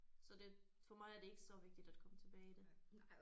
Så det for mig er det ikke så vigtigt at komme tilbage i det